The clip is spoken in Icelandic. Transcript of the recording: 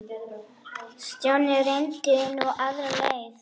Stjáni reyndi nú aðra leið.